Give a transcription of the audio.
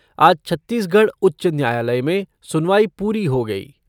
आज छत्तीसगढ़ उच्च न्यायालय में सुनवाई पूरी हो गई।